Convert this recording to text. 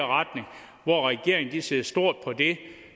der regeringen ser stort på det